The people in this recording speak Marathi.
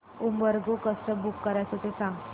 उबर गो कसं बुक करायचं ते सांग